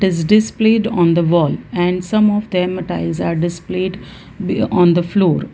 is displayed on the wall and some of them a tiles are displayed be on the floor.